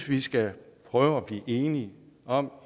vi skal prøve at blive enige om